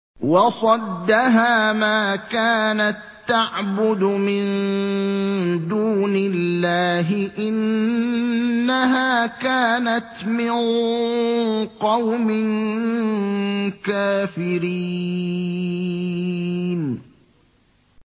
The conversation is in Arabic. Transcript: وَصَدَّهَا مَا كَانَت تَّعْبُدُ مِن دُونِ اللَّهِ ۖ إِنَّهَا كَانَتْ مِن قَوْمٍ كَافِرِينَ